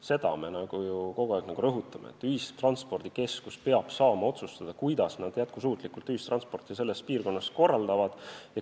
Seda me ju kogu aeg rõhutamegi, et ühistranspordikeskus peab saama otsustada, kuidas nad oma piirkonnas jätkusuutlikku ühistransporti korraldavad.